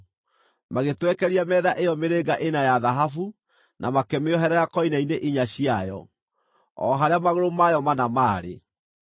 Magĩtwekeria metha ĩyo mĩrĩnga ĩna ya thahabu, na makĩmĩoherera koine-inĩ inya ciayo, o harĩa magũrũ mayo mana maarĩ.